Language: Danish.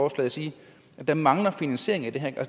at stå og sige at der mangler finansiering det handler